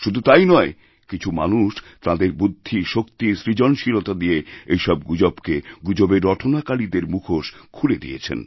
শুধু তাই নয় কিছু মানুষ তাঁদের বুদ্ধি শক্তি সৃজনশীলতা দিয়ে এইসবগুজবকে গুজবের রটনাকারীদের মুখোশ খুলে দিয়েছেন